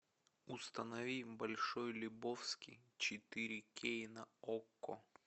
установи большой лебовски четыре кей на окко